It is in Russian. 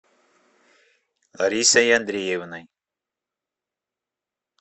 ларисой андреевной